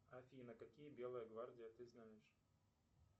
афина какие белые гвардии ты знаешь